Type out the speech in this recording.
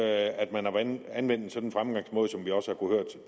at man har anvendt en sådan fremgangsmåde som vi også